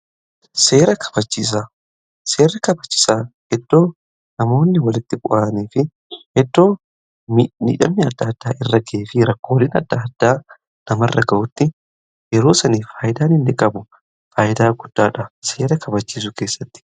Seera kabachisaan iddoo namoonni walitti bu'anii fi iddoo miidhamni adda addaa irra gaafa rakkooleen adda addaa namarra ga'utti yeroo sani faayidaan inni qabu faayidaa guddaadha seera kabachiisuu keessatti